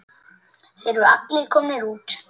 Það eru allir komnir út.